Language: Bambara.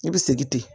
I bɛ segin ten